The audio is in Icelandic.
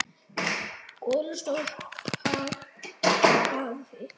Gola stóð af hafi.